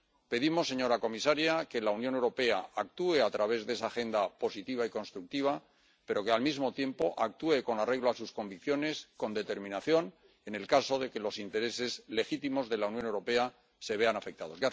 Pedimos, señora comisaria, que la Unión Europea actúe a través de esa agenda positiva y constructiva pero que, al mismo tiempo, actúe con arreglo a sus convicciones, con determinación, en el caso de que los intereses legítimos de la Unión Europea se vean afectados.